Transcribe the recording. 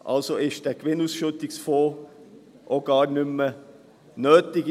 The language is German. Also ist dieser Gewinnausschüttungsfonds in dieser Form auch gar nicht mehr nötig.